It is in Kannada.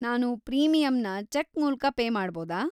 ನಾನು ಪ್ರೀಮಿಯಂನ ಚೆಕ್ ಮೂಲ್ಕ ಪೇ ಮಾಡ್ಬೋದಾ?